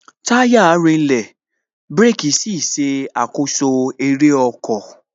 Táyà rinlẹ̀, àti bírèkī ṣe àkoso eré ọkọ̀